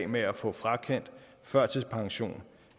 med at få frakendt førtidspension